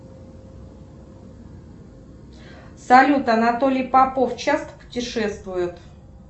салют анатолий попов часто путешествует